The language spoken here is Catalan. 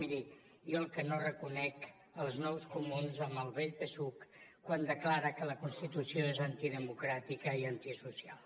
miri jo el que no reconec són els nous comuns amb el vell psuc quan declara que la constitució és antidemocràtica i antisocial